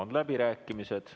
Avan läbirääkimised.